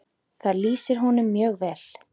Það lýsir honum mjög vel.